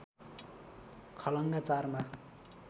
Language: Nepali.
खलङ्गा ४ मा